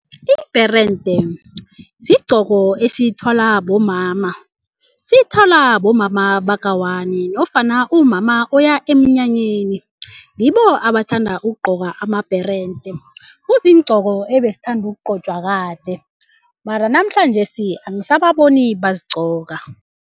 Ibherente sigcoko esithwalwa bomama sithwalwa bomama baka-one nofana umama oya emnyanyeni yibo abathanda ukugcoka amabherente kuziigcoko ebesithanda ukugcotshwa kade mara namhlanjesi angisababoni bazigcoka.